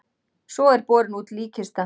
Svo er borin út líkkista.